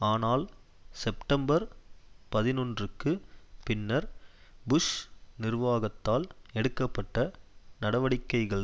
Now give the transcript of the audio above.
ஆனால் செப்டம்பர் பதினொன்றுக்கு பின்னர் புஷ் நிர்வாகத்தால் எடுக்க பட்ட நடவடிக்கைகள்